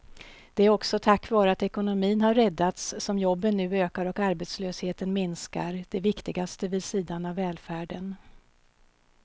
Det är också tack vare att ekonomin har räddats som jobben nu ökar och arbetslösheten minskar, det viktigaste vid sidan av välfärden.